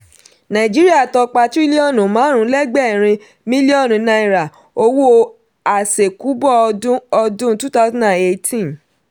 nàìjíríà tọ́pa tirilionu márùn lẹgbẹ̀rin miliọnu náírà owó asekubo ọdún ọdún 2018.